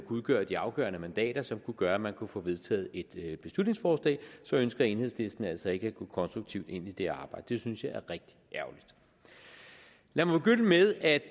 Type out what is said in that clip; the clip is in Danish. udgøre de afgørende mandater som kunne gøre at man kunne få vedtaget et beslutningsforslag så ønsker enhedslisten altså ikke at gå konstruktivt ind i det arbejde det synes jeg er rigtig ærgerligt lad mig begynde med at